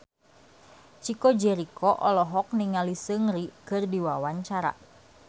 Chico Jericho olohok ningali Seungri keur diwawancara